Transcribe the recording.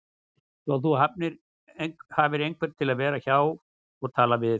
Svo þú hafir einhvern til að vera hjá og tala við